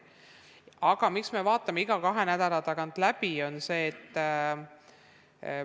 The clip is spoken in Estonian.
Aga miks me vaatame seda iga kahe nädala tagant läbi?